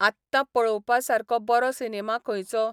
आत्तां पळोवपा सारको बरो सिनेमा खंयचो ?